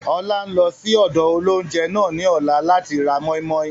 Ọlá ń lọ síí ọ̀dọ̀ óloúnjẹ náà ni ọ̀la láti ra mọ́i-mọ́i